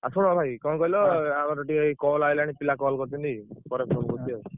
ଆଉ ଶୁଣ ଭାଇ କଣ କହିଲ ଆମର ଟିକେ ଇଏ call ଆଇଲାଣି ପିଲା call କରୁଛନ୍ତି। ପରେ phone କରୁଛି ଆଉ।